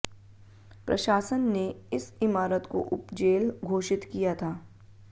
प्रशासन ने इस इमारत को उपजेल घोषित किया था